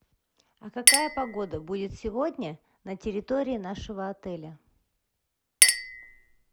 а какая погода будет сегодня на территории нашего отеля